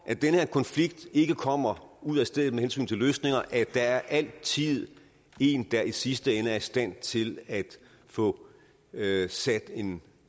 at den her konflikt ikke kommer ud af stedet med hensyn til løsninger der er altid en der i sidste ende er i stand til at få sat en